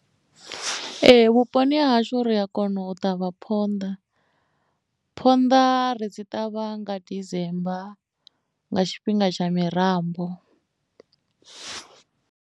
Ee vhuponi ha hashu ri a kona u ṱavha phonḓa phonḓa ri dzi ṱavha nga December nga tshifhinga tsha mirambo.